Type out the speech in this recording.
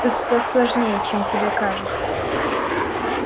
тут все сложнее чем тебе кажется